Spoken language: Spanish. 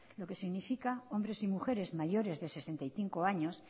lo que significa hombres y mujeres mayores de sesenta y cinco años